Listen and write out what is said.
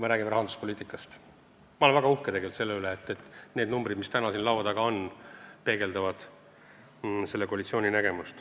Ma olen tegelikult väga uhke selle üle, et need numbrid, mis täna siin laual on, peegeldavad selle koalitsiooni nägemust.